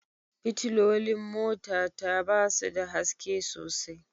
Fitilolin mota ta ba su da haske sosai